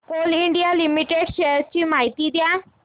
Coal India Limited shares ची माहिती द्या